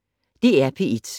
DR P1